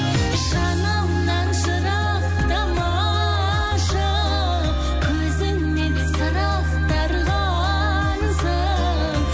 жанымнан жырақтамашы көзіңнен сыр ақтарғансың